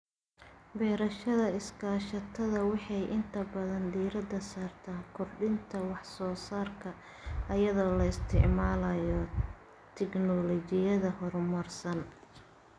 Beerashada iskaashatada waxay inta badan diirada saartaa kordhinta wax soo saarka iyadoo la isticmaalayo tignoolajiyada horumarsan.